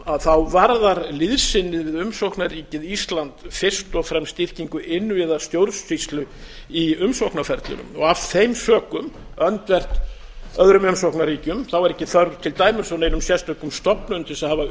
örum þjóðum varðar liðsinnið við umsóknarríkið ísland fyrst og fremst styrkingu innviða stjórnsýslu í umsóknarferlinu af þeim sökum öndvert öðrum umsóknarríkjum er ekki þörf til dæmis á neinum sérstökum stofnunum til þess að hafa